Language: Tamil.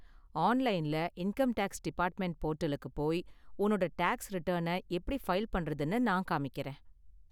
ஆன்லைன்ல இன்கம் டேக்ஸ் டிபார்ட்மென்ட் போர்டலுக்கு போய் உன்னோட டேக்ஸ் ரிட்டர்ன எப்படி ஃபைல் பண்றதுனு நான் காமிக்கறேன்.